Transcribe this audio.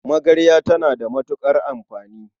Magarya tana da matuƙar amfani.